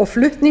og flutning